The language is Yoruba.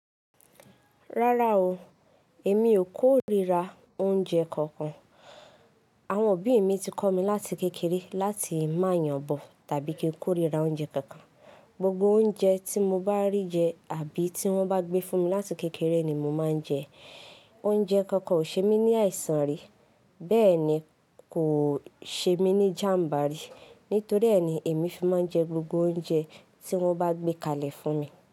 Rárá o, èmi ò kórira oúnjẹ kankan. Àwọn òbí mi ti kọ́ mi láti kékeré láti má yànbọ̀ tàbí kí n kórira oúnjẹ kankan. Gbogbo oúnjẹ tí mo bá rí jẹ àbí tí wọ́n bá gbé fún mi láti kékeré ni mo máa ń jẹ. Oúnjẹ kankan ò ṣe mí ní àìsàn rí, bẹ́ẹ̀ ni kò ṣe mí ní jàm̀bá rí. Nítorí ẹ́ ni èmi fi máa ń jẹ gbogbo oúnjẹ tí wọ́n bá gbé kalẹ̀ fún mi.